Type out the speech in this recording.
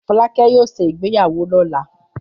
Fọlákẹ́ yóò ṣe ìgbéyàwó lọ́la.